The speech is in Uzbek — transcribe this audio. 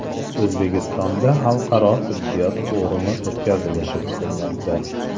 O‘zbekistonda xalqaro tibbiyot forumi o‘tkazilishi kutilmoqda.